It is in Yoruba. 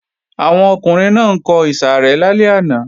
Àwọn ọkùnrin náà ń kọ ìsàrẹ́ lálẹ́ àná